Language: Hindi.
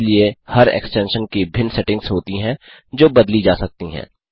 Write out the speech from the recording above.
इसलिए हर एक्सटेंशन की भिन्न सेटिंग्स होती हैं जो बदली जा सकती हैं